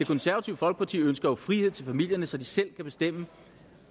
konservative folkeparti ønsker jo frihed til familierne så de selv kan bestemme